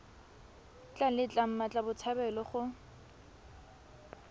tla letla mmatla botshabelo go